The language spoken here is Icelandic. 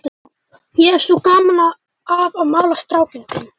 Ég hef svo gaman af að mála strákinn þinn.